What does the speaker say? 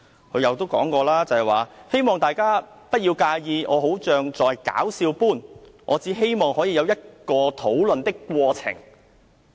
他又說："希望大家不要介意我好像在'搞笑'般，我只希望可以有一個討論的過程。